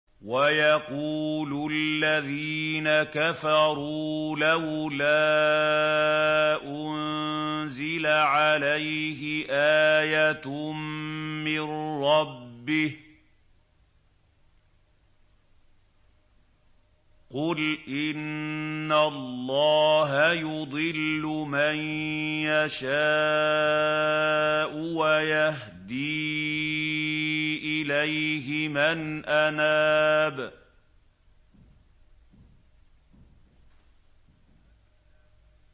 وَيَقُولُ الَّذِينَ كَفَرُوا لَوْلَا أُنزِلَ عَلَيْهِ آيَةٌ مِّن رَّبِّهِ ۗ قُلْ إِنَّ اللَّهَ يُضِلُّ مَن يَشَاءُ وَيَهْدِي إِلَيْهِ مَنْ أَنَابَ